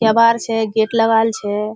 केबार छे गेट लागल छे।